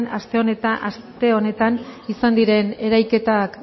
aste honetan izan diren erailketak